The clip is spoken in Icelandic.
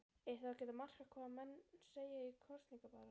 Er þá ekkert að marka hvað menn segja í kosningabaráttu?